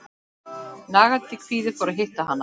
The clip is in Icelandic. Nagandi kvíði að hitta hana.